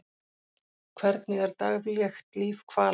Hvernig er daglegt líf hvala?